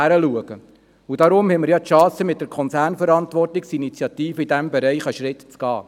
Deshalb haben wir nun die Chance, mit der Konzernverantwortungsinitiative in diesem Bereich einen Schritt zu machen.